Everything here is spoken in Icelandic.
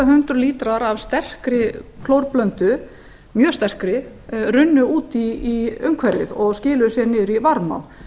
hundruð lítrar af mjög sterkri klórblöndu runnu út í umhverfið og skiluðu sér niður í varmá